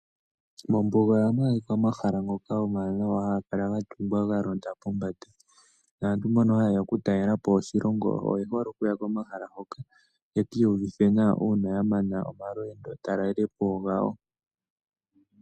Mombuga ohamu adhika omahala ngoka omawanawa haga kala ga tungwa ga londa pombanda. Naantu mbono ha yeya oku talelapo oshilongo oye hole okuya komahala hoka yeki yuvithe nawa uuna ya mana omalweendo talelepo gawo.